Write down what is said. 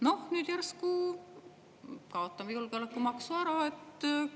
Noh, nüüd järsku kaotame julgeolekumaksu ära.